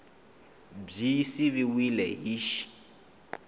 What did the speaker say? b yi siviwile hi x